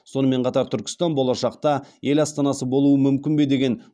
сонымен қатар түркістан болашақта ел астанасы болуы мүмкін бе деген